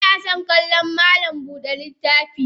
Inason kallon malam Buda littafi.